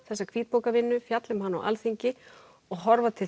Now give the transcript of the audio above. þessa hvítbókarvinnu fjalla um hana á Alþingi og horfa